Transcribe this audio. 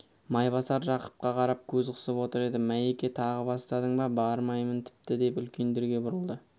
майбасар жақыпқа қарап көз қысып отыр еді майеке тағы бастадың ба бармаймын тіпті деп үлкендерге бұрылды